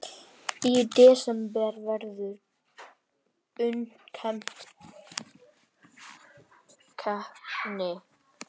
Í desember verður undankeppni.